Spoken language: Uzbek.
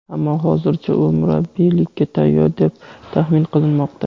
ammo hozircha u murabbiylikka tayyor deb taxmin qilinmoqda.